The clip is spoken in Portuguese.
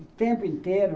O tempo inteiro.